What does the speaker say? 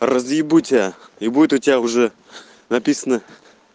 разъебу тебя и будет у тебя уже написано